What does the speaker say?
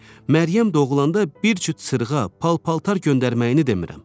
Məryəm doğulanda bir cüt sırğa, pal-paltar göndərməyini demirəm.